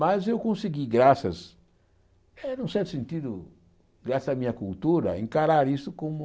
Mas eu consegui, graças, eh num certo sentido, graças à minha cultura, encarar isso como...